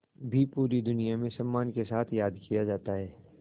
भी पूरी दुनिया में सम्मान के साथ याद किया जाता है